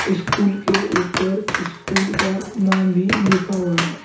School के ऊपर school का नाम भी लिखा हुआ है।